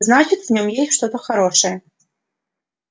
значит в нём есть что-то хорошее